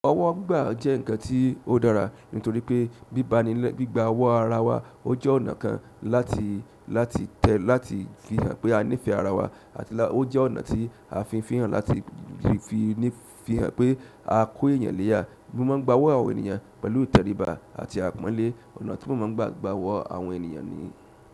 Ọwọ́ gbígba jẹ́ nǹkan tí ó dára nítorí pé gbigba ọwọ́ ara wa ó jẹ́ ọ̀nà kan láti, fihàn pé a nífẹ̀ẹ́ ara wa àti láti ó jẹ́ ọ̀nà tí a fi ń fi hàn láti fi ní fi hàn pé a kó èèyàn léyà. Mo má n gbá ọwọ́ àwọn ènìyàn pẹ̀lú ìtẹríba àti àpọ́nlé, ọ̀nà tí mo má n gbà gbá ọwọ́ àwọn ènìyàn ni.